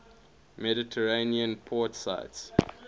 mediterranean port cities